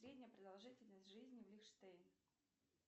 средняя продолжительность жизни в лихтенштейн